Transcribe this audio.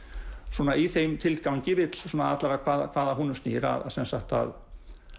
svona í þeim tilgangi alla vega hvað hvað að honum snýr að að